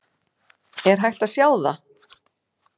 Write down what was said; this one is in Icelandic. Er hægt að sjá það?